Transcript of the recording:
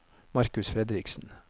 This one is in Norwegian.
Markus Fredriksen